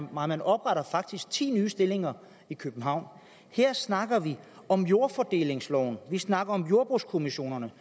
nej man opretter faktisk ti nye stillinger i københavn her snakker vi om jordfordelingsloven og vi snakker om jordbrugskommissionerne